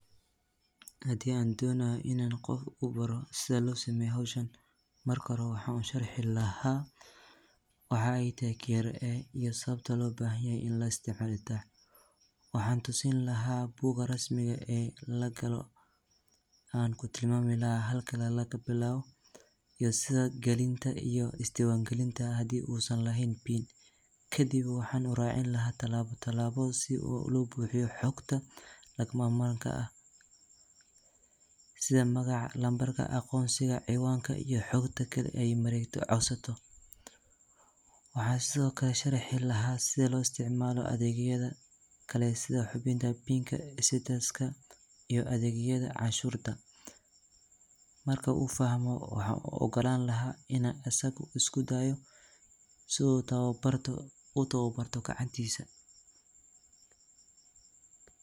Hay’adda Dakhliga ee Kenya waa hay’ad dowladeed oo muhiim ah oo la aasaasay sannadki kun sagaal boqol sagashan iyo shaantii, taas oo u xil saaran ururinta dakhliga dowladda ee ka yimaada canshuuraha iyo cashuuraha kale si loo xaqiijiyo horumar dhaqaale iyo bixinta adeegyada bulshada. Waxa ay door weyn ka ciyaartaa kobcinta dakhliga qaranka iyadoo la socota, diiwaangelinaysa, ururinaysa, isla markaana dabagal ku sameynaysa canshuur bixiyeyaasha, si looga hortago musuqmaasuqa, cashuur celinta sharci darrada ah, iyo ka fogaanshaha bixinta canshuuraha. Sidoo kale, KRA waxa ay hirgelisay adeegyo casri ah sida barnaamijka iTax, kaas oo fududeeya bixinta canshuuraha iyadoo la adeegsanayo internet-ka, taas oo kor u qaadday hufnaanta iyo daahfurnaanta nidaamka canshuur ururinta.